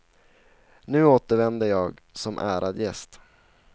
Nu återvände jag som ärad gäst.